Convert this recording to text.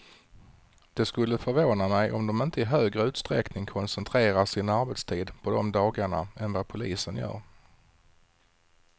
Det skulle förvåna mig om de inte i högre utsträckning koncentrerar sin arbetstid på de dagarna än vad polisen gör.